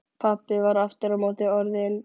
Pabbi var aftur á móti orðinn